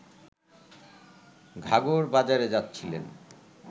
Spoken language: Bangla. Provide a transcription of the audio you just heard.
ঘাঘর বাজারে যাচ্ছিলেন